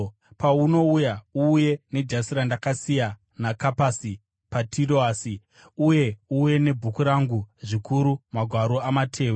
Paunouya, uuye nejasi randakasiya naKapasi paTiroasi, uye uuye nebhuku rangu, zvikuru magwaro amatehwe.